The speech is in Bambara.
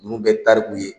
Ninnu bɛɛ tariku ye